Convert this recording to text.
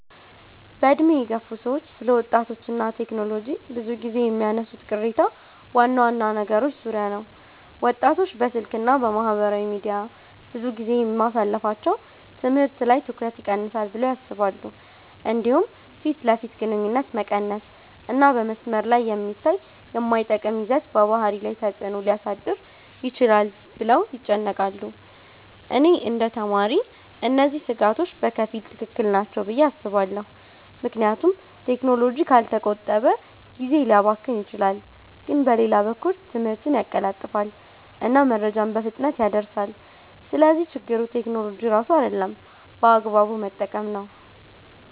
በዕድሜ የገፉ ሰዎች ስለ ወጣቶች እና ቴክኖሎጂ ብዙ ጊዜ የሚያነሱት ቅሬታ ዋና ዋና ነገሮች ዙሪያ ነው። ወጣቶች በስልክ እና በማህበራዊ ሚዲያ ብዙ ጊዜ ማሳለፋቸው ትምህርት ላይ ትኩረት ይቀንሳል ብለው ያስባሉ። እንዲሁም ፊት ለፊት ግንኙነት መቀነስ እና በመስመር ላይ የሚታይ የማይጠቅም ይዘት በባህሪ ላይ ተፅዕኖ ሊያሳድር ይችላል ብለው ይጨነቃሉ። እኔ እንደ ተማሪ እነዚህ ስጋቶች በከፊል ትክክል ናቸው ብዬ አስባለሁ፣ ምክንያቱም ቴክኖሎጂ ካልተቆጠበ ጊዜ ሊያባክን ይችላል። ግን በሌላ በኩል ትምህርትን ያቀላጥፋል እና መረጃን በፍጥነት ያደርሳል። ስለዚህ ችግሩ ቴክኖሎጂ ራሱ አይደለም፣ በአግባቡ መጠቀም ነው።